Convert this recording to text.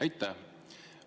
Aitäh!